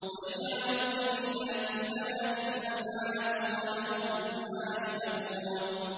وَيَجْعَلُونَ لِلَّهِ الْبَنَاتِ سُبْحَانَهُ ۙ وَلَهُم مَّا يَشْتَهُونَ